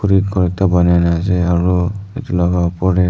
aro ghor ekta bunai na ase aro etu laka upor de.